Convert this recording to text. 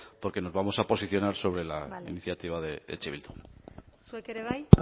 porque nos vamos a posicionar sobre la iniciativa de eh bildu bale zuek ere bai